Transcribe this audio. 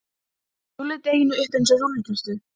Rúllið deiginu upp eins og rúllutertu.